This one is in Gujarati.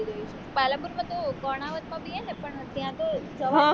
પાલનપુરમાં તો એવું કર્ણાવતમાં બી એ ને પણ ત્યાં તો જવાની દે